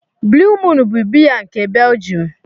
Blue Moon bụ biya nke Belgium.